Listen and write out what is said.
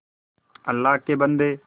अल्लाह के बन्दे